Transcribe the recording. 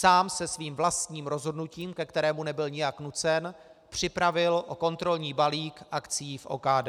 Sám se svým vlastním rozhodnutím, ke kterému nebyl nijak nucen, připravil o kontrolní balík akcií v OKD.